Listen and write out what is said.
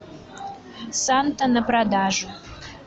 санта на продажу